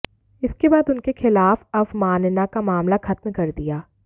इसके बाद उनके खिलाफ अवमानना का मामला खत्म कर दिया